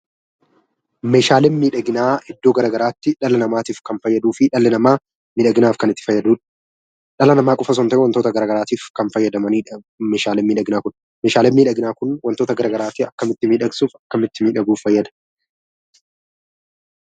Meeshaaleen miidhaginaa iddoo gara garaatiif dhala namaatiif kan fayyaduu fi dhalli namaa miidhaginaaf kan itti fayyadamu dha. Dhala namaa qofa osoo hin ta'in wantoota gara garaatiif kan fayyadamani dha meeshaaleen miidhaginaa kun. Meedhasleen miidhaginaa kun wantoota gara garaatiif akkamitti miidhagsuuf, akkamitti miidhaguuf fayyada?